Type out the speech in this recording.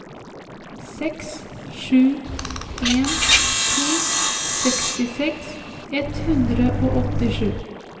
seks sju en to sekstiseks ett hundre og åttisju